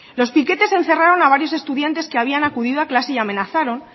los piquetes encerraron a varios estudiantes que habían acudido a clase y amenazaron